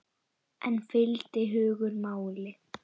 En fylgdi hugur máli?